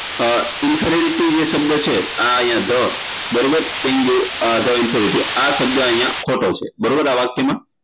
અ insecurity જે શબ્દ છે આ અહિયાં બરોબર the insecurity આ શબ્દ અહિયાં ખોટો છે બરોબર આ વાક્યમાં